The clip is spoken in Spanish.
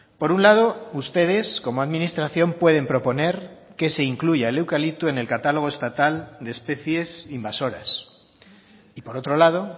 por un lado ustedes como administración pueden proponer que se incluya el eucalipto en el catálogo estatal de especies invasoras y por otro lado